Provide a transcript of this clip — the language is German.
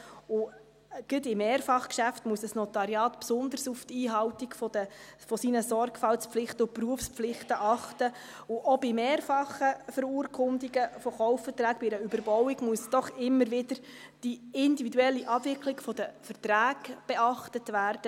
Gerade in Mehrfachgeschäften muss ein Notariat besonders auf die Einhaltung seiner Sorgfaltspflichten und Berufspflichten achten, und auch bei mehrfachen Verurkundungen von Kaufverträgen bei einer Überbauung, muss doch immer wieder die individuelle Abwicklung der Verträge beachtet werden.